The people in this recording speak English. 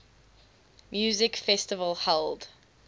music festival held